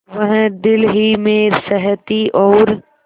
वह दिल ही में सहती और